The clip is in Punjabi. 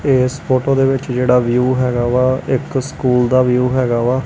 ਇਸ ਫੋਟੋ ਦੇ ਵਿੱਚ ਜਿਹੜਾ ਵਿਊ ਹੈਗਾ ਵਾ ਇੱਕ ਸਕੂਲ ਦਾ ਵਿਊ ਹੈਗਾ ਵਾ।